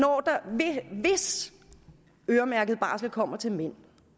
hvis øremærket barsel kommer til mænd